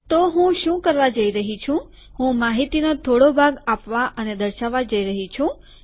તો હું શું કરવા જઈ રહ્યો છું કે હું માહિતીનો થોડો ભાગ આપવા અને દર્શાવવા જઈ રહ્યો છું